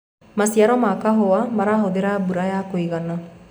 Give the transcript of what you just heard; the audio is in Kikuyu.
maciaro ma kahũa marahuthira mbura ya kũigana